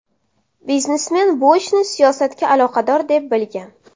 Biznesmen bu ishni siyosatga aloqador deb bilgan.